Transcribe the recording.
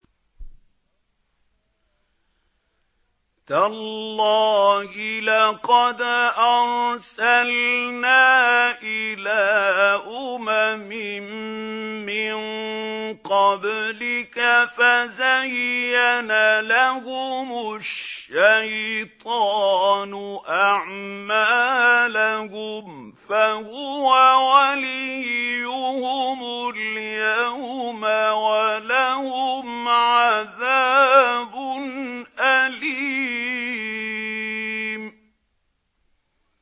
تَاللَّهِ لَقَدْ أَرْسَلْنَا إِلَىٰ أُمَمٍ مِّن قَبْلِكَ فَزَيَّنَ لَهُمُ الشَّيْطَانُ أَعْمَالَهُمْ فَهُوَ وَلِيُّهُمُ الْيَوْمَ وَلَهُمْ عَذَابٌ أَلِيمٌ